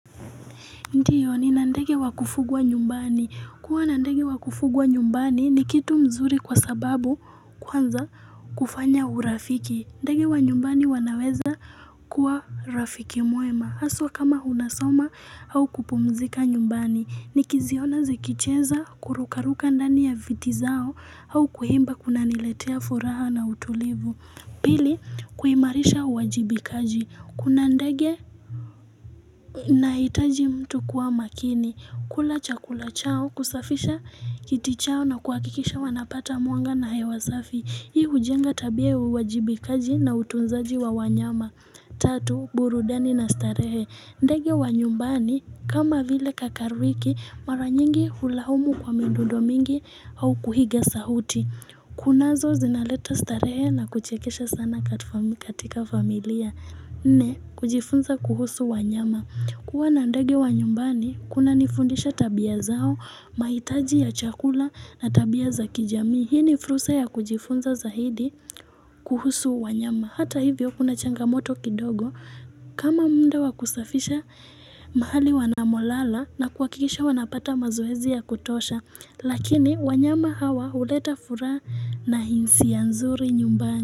Ndiyo ni nandege wakufugwa nyumbani. Kuwa nandege wakufugwa nyumbani ni kitu mzuri kwa sababu kwanza kufanya urafiki. Ndege wanyumbani wanaweza kuwa rafiki mwema. Haswa kama unasoma au kupumzika nyumbani. Ni kiziona zikicheza, kurukaruka ndani ya viti zao au kuimba kuna niletea furaha na utulivu. Pili, kuimarisha uwajibikaji. Kuna ndege ina itaji mtu kuwa makini. Kula chakula chao, kusafisha kiti chao na kuhakikisha wanapata mwanga na hewa safi. Hii hujenga tabia ya uwajibikaji na utunzaji wa wanyama. Tatu, burudani na starehe. Ndege wa nyumbani, kama vile kakarwiki, maranyingi hulaumu kwa mindudo mingi au kuhiga sauti. Kunazo zinaleta starehe na kuchekesha sana katika familia. Ni, kujifunza kuhusu wa nyama. Kuwa na ndege wa nyumbani, kuna nifundisha tabia zao, mahitaji ya chakula na tabia za kijamii. Hii ni frusa ya kujifunza za hidi kuhusu wanyama. Hata hivyo kuna changamoto kidogo kama muunda wakusafisha mahali wanamolala na kuhakikisha wanapata mazoezi ya kutosha. Lakini wanyama hawa huleta furaha na hisia nzuri nyumbani.